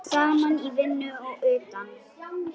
Saman í vinnu og utan.